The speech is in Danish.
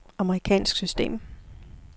amerikansk system